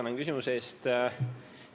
Tänan küsimuse eest!